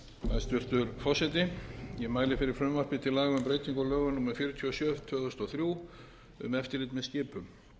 hæstvirtur forseti ég mæli fyrir frumvarpi til laga um breytingu á lögum númer fjörutíu og sjö tvö þúsund og þrjú um eftirlit með skipum